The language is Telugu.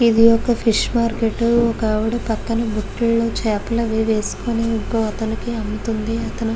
ఇది ఒక ఫిష్ మార్కెట్ ఒక ఆవిడా పక్కన బుట్టలో చేపలు అవి వెస్కొని ఇంకో అతనికి అమ్ముతుంది అతను --